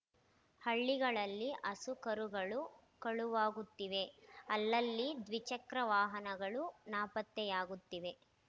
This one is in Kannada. ಹಳ್ಳಿಗಳಲ್ಲಿ ಹಸು ಕರುಗಳು ಕಳುವಾಗುತ್ತಿವೆ ಅಲ್ಲಲ್ಲಿ ದ್ವಿಚಕ್ರ ವಾಹನಗಳು ನಾಪತ್ತೆಯಾಗುತ್ತಿವೆ